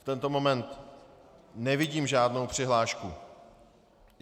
V tento moment nevidím žádnou přihlášku.